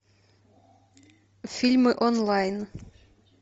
фильмы онлайн